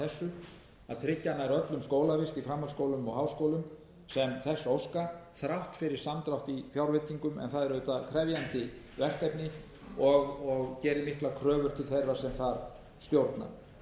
nær öllum skólavist í framhaldsskólum og háskólum sem þess óska þrátt fyrir samdrátt í fjárveitingum en það er auðvitað krefjandi verkefni og gerir miklar kröfur til þeirra sem þar stjórna einnig þar er að finna niðurskurð sem